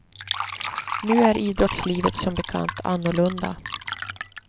Nu är idrottslivet som bekant annorlunda.